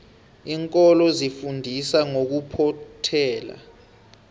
iinkolo zifundisa ngokuphothela